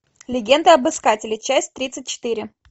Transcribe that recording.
легенда об искателе часть тридцать четыре